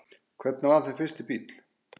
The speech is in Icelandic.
Hvernig var þinn fyrsti bíll?